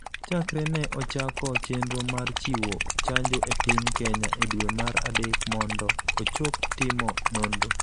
chakre ne ochako chenro mar chiwo chanjo e piny Kenya e dwe mar adek mondo ochop timo nonro,